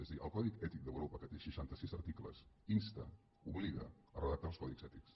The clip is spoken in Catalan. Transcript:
és a dir el codi ètic d’europa que té seixanta·sis arti·cles insta obliga a redactar els codis ètics